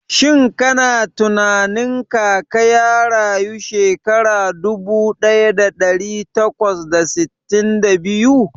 Shin kana tunanin Kaka ya rayu shekara dubu daya da dari takwas da sittin da biyu?